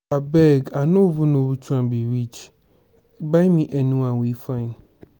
abeg i know even know which one be which buy me anyone wey fine.